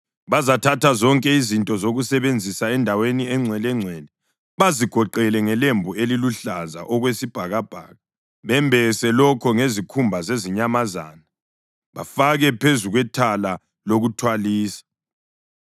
Bazathatha zonke izinto zokusebenzisa endaweni engcwelengcwele, bazigoqele ngelembu eliluhlaza okwesibhakabhaka, bembese lokho ngezikhumba zezinyamazana bafake phezu kwethala lokuthwalisa.